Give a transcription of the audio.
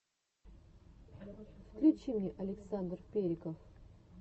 включи мне александр периков